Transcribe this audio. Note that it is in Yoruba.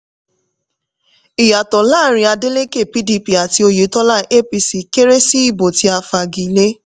ìyàtọ̀ láàárín adeleke pdp àti oyètọ́lá apc kéré sí ìbò tí a fa igi lé.